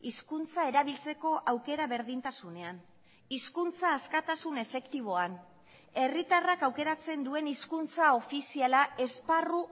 hizkuntza erabiltzeko aukera berdintasunean hizkuntza askatasun efektiboan herritarrak aukeratzen duen hizkuntza ofiziala esparru